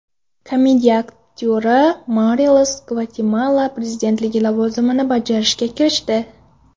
Komediya aktyori Morales Gvatemala prezidentligi lavozimini bajarishga kirishdi.